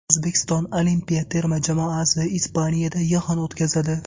O‘zbekiston olimpiya terma jamoasi Ispaniyada yig‘in o‘tkazadi.